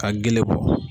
Ka gele bɔ